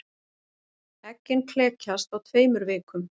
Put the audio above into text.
Eggin klekjast á tveimur vikum.